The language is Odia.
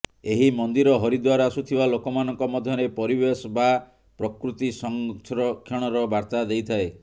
ଏହି ମନ୍ଦିର ହରିଦ୍ୱାର ଆସୁଥିବା ଲୋକମାନଙ୍କ ମଧ୍ୟରେ ପରିବେଶ ବା ପ୍ରକୃତି ସଂରକ୍ଷଣର ବାର୍ତ୍ତା ଦେଇଥାଏ